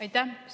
Aitäh!